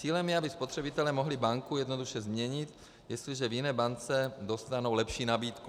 Cílem je, aby spotřebitelé mohli banku jednoduše změnit, jestliže v jiné bance dostanou lepší nabídku.